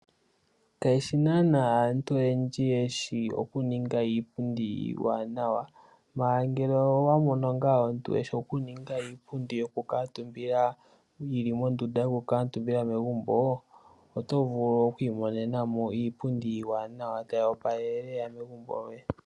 Kayeshi naana aantu oyendji yeshi oku ninga iipundi iiwanawa, mala ngele owa mono nga omuntu eshi oku ninga iipundi yoku kamutumba, yilimondunda yokukamutumba megumo, oto vulu okwi monenamo iipundi iiwanawa tayi opalele lela megumbo lyoye.